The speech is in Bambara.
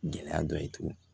Gɛlɛya dɔ ye tuguni